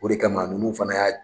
O de kama ninnu fana y'a